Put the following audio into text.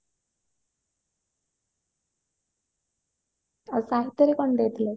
ଆଉ ସାହିତ୍ୟରେ କଣ ଦେଇଥିଲେ